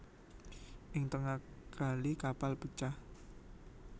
Ing tengah kali kapal pecah